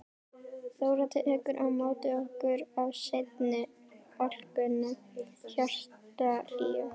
Þóra tekur á móti okkur af sinni alkunnu hjartahlýju.